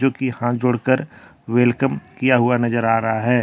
लड़की हाथ जोड़ कर वेलकम किया हुआ नजर आ रहा हैं।